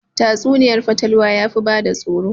Tatsuniyar fatalwa yafi bada tsoro